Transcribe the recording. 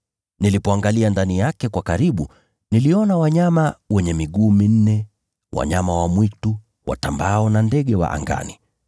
Nilipoangalia ndani yake kwa karibu niliona wanyama wenye miguu minne wa nchini, wanyama wa mwitu, watambaao na ndege wa angani.